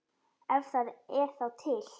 Ef það er þá til.